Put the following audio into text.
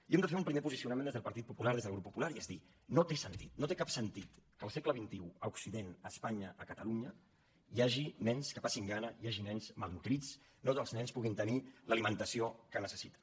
i hem de fer un primer posicionament des del partit popular des del grup popular i és dir no té sentit no té cap sentit que al segle xxinya a catalunya hi hagi nens que passin gana hi hagi nens malnodrits no tots els nens puguin tenir l’alimentació que necessiten